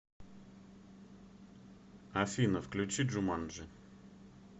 афина включи джуманджи